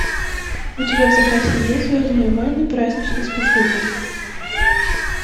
у тебя в запасе есть звездные войны праздничный спецвыпуск